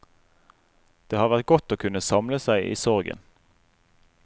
Det har vært godt å kunne samle seg i sorgen.